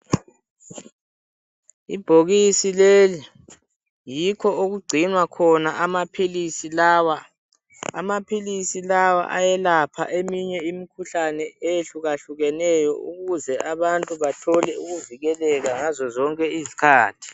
Ibhokisi leli yikho okugcinwa khona amaphilisi lawa. Amaphilisi lawa ayelapha eminye imikhuhlane eyehlukahlukeneyo ukuze abantu bathole ukuvikeleka ngazo zonke izikhathi.